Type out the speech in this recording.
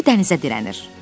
Bakı dənizə dirənir.